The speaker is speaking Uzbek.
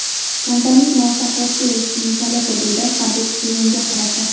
Kamtarlik muvaffaqiyatga erishishning kaliti”, deydi Habib Kevinga qarata.